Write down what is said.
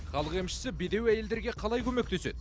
халық емшісі бедеу әйелдерге қалай көмектеседі